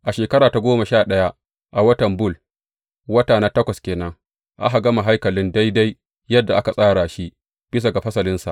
A shekara ta goma sha ɗaya, a watan Bul, wata na takwas ke nan, aka gama haikalin daidai yadda aka tsara shi bisa ga fasalinsa.